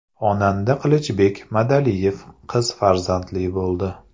Xonanda Qilichbek Madaliyev qiz farzandli bo‘ldi.